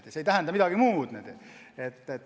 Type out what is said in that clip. See ei tähenda midagi muud.